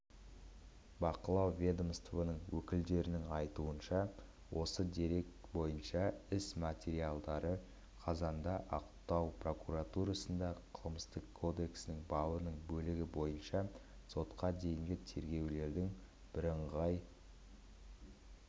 бақылау ведомствоның өкілдерінің айтуынша осы дерек бойынша іс материалдары қазанда ақтау прокуратурасында қылмыстық кодексінің бабының бөлігі бойынша сотқа дейінгі тергеулердің бірыңғай